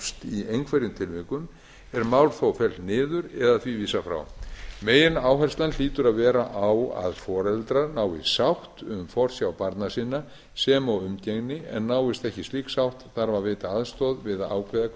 tilvikum er mál þó fellt niður eða því vísað frá megináherslan hlýtur vera á að foreldrar nái sátt um forsjá barna sinna sem og umgengni en náist ekki slík sátt þarf að veita aðstoð við að ákvæði hvernig